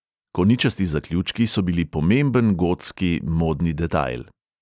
Koničasti zaključki so bili pomemben gotski modni detajl.